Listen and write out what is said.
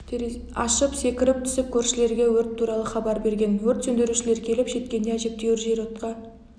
ашып секіріп түсіп көршілерге өрт туралы хабар берген өрт сөндірушілер келіп жеткенде әжептәуір жер отқа